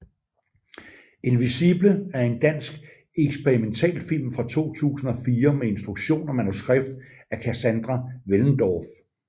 Invisible er en dansk eksperimentalfilm fra 2004 med instruktion og manuskript af Kassandra Wellendorf